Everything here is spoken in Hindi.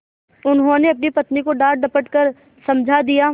उन्होंने अपनी पत्नी को डाँटडपट कर समझा दिया